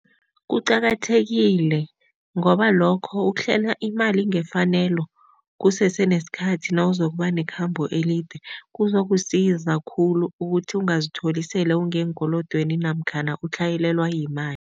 Kuqakathekile ngoba lokho ukuhlela imali ngefanelo kusese nesikhathi nawuzokuba nekhambo elide kuzokusiza khulu ukuthi ungazitholi sele ungeenkolodweni namkhana utlhayelelwa yimali.